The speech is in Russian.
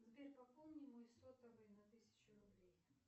сбер пополни мой сотовый на тысячу рублей